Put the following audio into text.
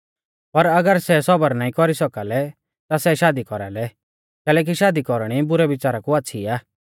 पर अगर सै सबर नाईं कौरी सौका लै ता सै शादी कौरालै कैलैकि शादी कौरणी बुरै बिच़ारा कु आच़्छ़ी आ